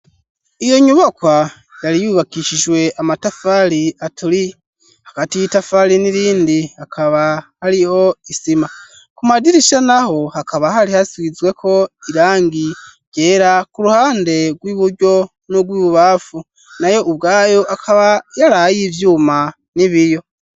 Iyo nyubakwa yari yubakishijwe amatafari aturiye hagati y'itafari n'irindi hakaba hariho isima ku madirisha naho hakaba hari hasizweko irangi ryera ku ruhande rw'iburyo n'urwibubafu nayo ubwayo akaba yarayo ivyuma n'ibiyo.